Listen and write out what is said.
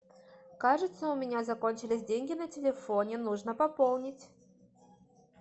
кажется у меня закончились деньги на телефоне нужно пополнить